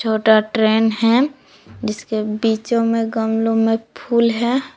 छोटा ट्रेन है जिसके बीचो में गमलों में फूल है।